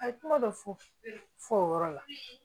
A ye kuma dɔ fɔ fɔ o yɔrɔ la